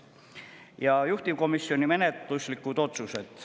Ja juhtivkomisjoni menetluslikud otsused.